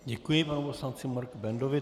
Děkuji panu poslanci Marku Bendovi.